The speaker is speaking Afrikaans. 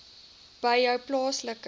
by jou plaaslike